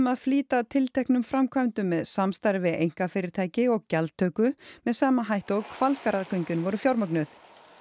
að flýta tilteknum framkvæmdum með samstarfi við einkafyrirtæki og gjaldtöku með sama hætti og Hvalfjarðargöngin voru fjármögnuð